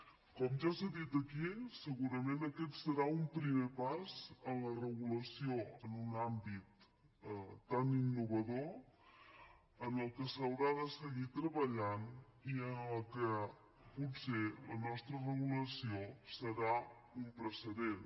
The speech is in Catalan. com ja s’ha dit aquí segurament aquest serà un primer pas en la regulació en un àmbit tan innovador en el que s’haurà de seguir treballant i en la que potser la nostra regulació serà un precedent